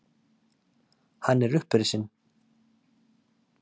Hann er upprisinn!